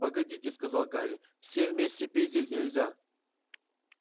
погодите сказал гарри всем вместе пить здесь нельзя